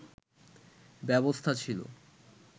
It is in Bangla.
ব্যবস্থা ছিল